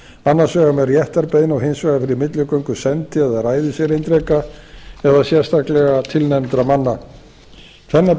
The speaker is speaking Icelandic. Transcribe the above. annars vegar með réttarbeiðni og hins vegar fyrir milligöngu sendi eða ræðiserindreka eða sérstaklega tilnefndra manna tvennar